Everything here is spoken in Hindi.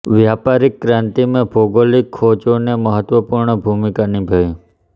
व्यापारिक क्रांति में भौगोलिक खोजों ने महत्वपूर्ण भूमिका निभाई